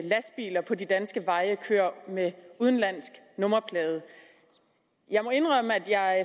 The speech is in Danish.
lastbiler på de danske veje kører med udenlandsk nummerplade jeg må indrømme at jeg